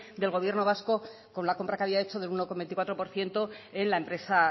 del gobierno vasco con la compra que había hecho del uno coma veinticuatro por ciento en la empresa